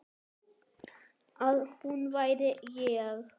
Að hún væri ég.